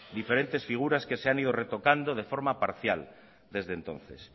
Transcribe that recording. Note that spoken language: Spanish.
diferentes figuras que se han ido retocando de forma parcial desde entonces